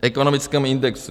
V ekonomickém indexu.